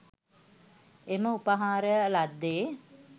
එම උපහාරය ලද්දේ.